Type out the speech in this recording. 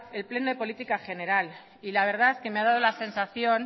el pleno de política general y la verdad que me ha dado la sensación